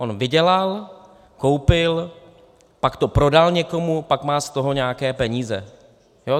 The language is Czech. On vydělal, koupil, pak to prodal někomu, pak má z toho nějaké peníze.